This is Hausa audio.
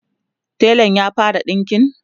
telan ya fara ɗinƙin?